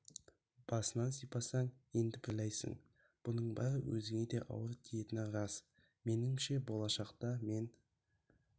басынан сипасаң енді біреуге айқайлайсын бұның бәрі өзіңе де ауыр тиетіні рас меніңше болашақта мен